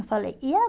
Eu falei, e